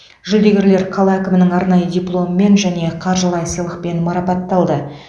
жүлдегерлер қала әкімінің арнайы дипломымен және қаржылай сыйлықпен марапатталды